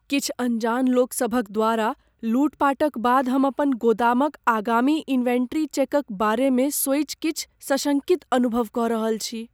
किछु अनजान लोक सभक द्वारा लूटपाटक बाद हम अपन गोदामक आगामी इन्वेंटरी चेकक बारे मे सोचि किछु सशंकित अनुभव कऽ रहल छी।